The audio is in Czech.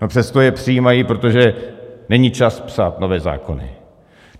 A přesto je přijímají, protože není čas psát nové zákony.